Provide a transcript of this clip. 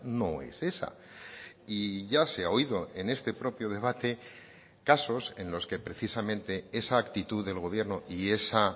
no es esa y ya se ha oído en este propio debate casos en los que precisamente esa actitud del gobierno y esa